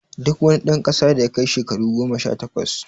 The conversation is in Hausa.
Duk wani dan kasa da yakai shakaru goma sha takwas